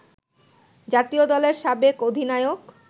জাতীয় দলের সাবেক অধিনায়ক